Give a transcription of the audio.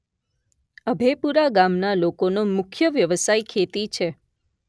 અભેપુરા ગામના લોકોનો મુખ્ય વ્યવસાય ખેતી છે